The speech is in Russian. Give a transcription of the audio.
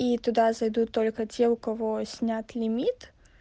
и туда зайдут только те у кого снят лимит